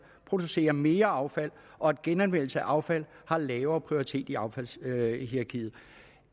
producerer mere affald og at genanvendelse af affald har lavere prioritet i affaldshierarkiet